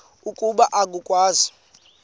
ukuba oku akwenziwa